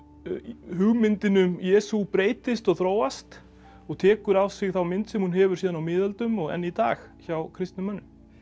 hugmyndin um Jesú breytist og þróast og tekur á sig þá mynd sem hún hefur síðan á miðöldum og enn í dag hjá kristnum mönnum